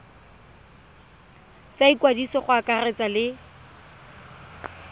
tsa ikwadiso go akaretsa le